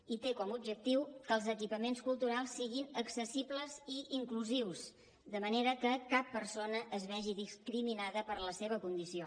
i té com a objectiu que els equipaments culturals siguin accessibles i inclusius de manera que cap persona es vegi discriminada per la seva condició